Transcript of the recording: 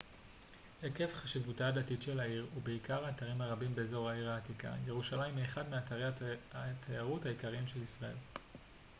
עקב חשיבותה הדתית של העיר ובעיקר האתרים הרבים באזור העיר העתיקה ירושלים היא אחד מאתרי התיירות העיקריים של ישראל